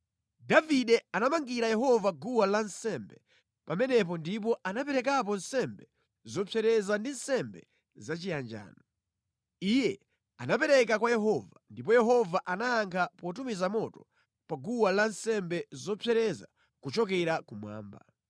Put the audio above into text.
Davide anamangira Yehova guwa lansembe pamenepo ndipo anaperekapo nsembe zopsereza ndi nsembe zachiyanjano. Iye anapemphera kwa Yehova, ndipo Yehova anayankha potumiza moto pa guwa lansembe zopsereza kuchokera kumwamba.